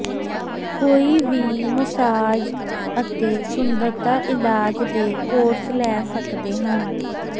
ਕੋਈ ਵੀ ਮਸਾਜ ਅਤੇ ਸੁੰਦਰਤਾ ਇਲਾਜ ਦੇ ਕੋਰਸ ਲੈ ਸਕਦੇ ਹਨ